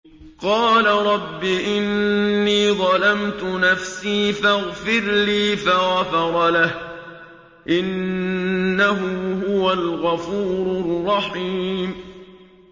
قَالَ رَبِّ إِنِّي ظَلَمْتُ نَفْسِي فَاغْفِرْ لِي فَغَفَرَ لَهُ ۚ إِنَّهُ هُوَ الْغَفُورُ الرَّحِيمُ